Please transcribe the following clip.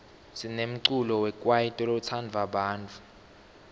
sinemculo wekwaito lotsandwa bantfu